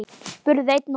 spurði einn okkar.